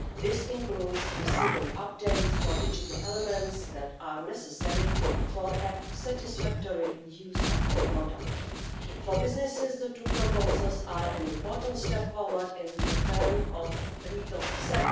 This includes receiving updates for digital elements that are necessary for a satisfactory use of the product. For businesses, the two proposals are an important step forward in terms of legal certainty.